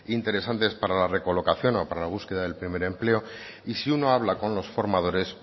interesantes para la recolocación o para la búsqueda del primer empleo y si uno habla con los formadores